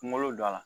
Kungolo don a la